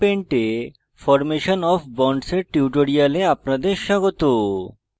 gchempaint এ formation of bonds এর tutorial আপনাদের স্বাগত